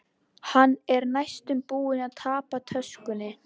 Hann er næstum búinn að tapa töskunni.